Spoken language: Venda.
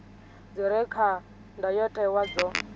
dzi re kha ndayotewa dzo